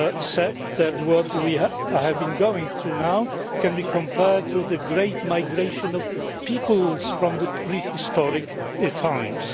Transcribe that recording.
said that what we have been going through now can be compared to the great migration of peoples from prehistoric times.